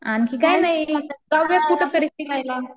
आणखी काही नाही जाऊयात कुठंतरी फिरायला.